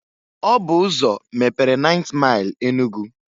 Ọ bụ ụzọ mepere 9th Maịl Enugu.